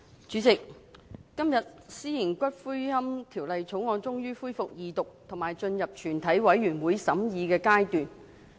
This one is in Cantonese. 主席，今天《私營骨灰安置所條例草案》終於恢復二讀，以及進入全體委員會審議階段。